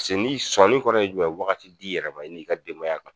Paseke n'i sɔni kɔrɔ ye jumɛn ye waati di yɛrɛ ma i n'i ka denbaya ka